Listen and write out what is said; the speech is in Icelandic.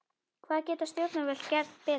Hvað geta stjórnvöld gert betur?